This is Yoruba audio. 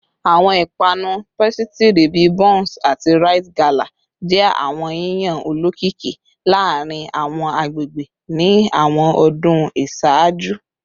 Awọn ipanu pasitiri bi bounce ati rite gala jẹ awọn yiyan olokiki laarin awọn agbegbe ni awọn ọdun iṣaaju